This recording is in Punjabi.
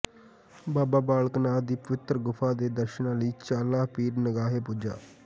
ਬਾਬਾ ਬਾਲਕ ਨਾਥ ਦੀ ਪਵਿੱਤਰ ਗੁਫਾ ਦੇ ਦਰਸ਼ਨਾਂ ਲਈ ਚਾਲਾ ਪੀਰ ਨਿਗਾਹੇ ਪੁੱਜਾ